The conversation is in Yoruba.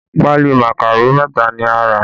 Pali màkàró mẹta ni a rà